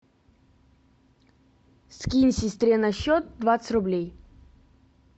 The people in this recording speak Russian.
скинь сестре на счет двадцать рублей